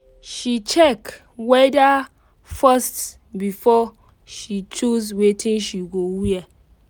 she check weather first before she choose wetin she go wear